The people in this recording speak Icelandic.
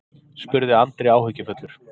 spurði Andri áhyggjufullur.